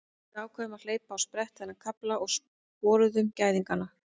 Við ákváðum að hleypa á sprett þennan kafla og sporuðum gæðingana.